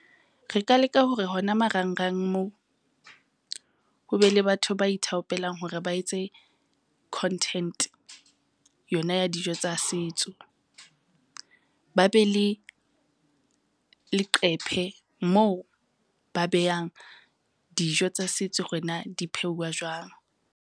Re ka leka hore hona marangrang moo, ho be le batho ba ithaopelang hore ba etse content yona ya dijo tsa setso. Ba be le leqephe moo ba beyang dijo tsa setso hore na di pheuwa jwang.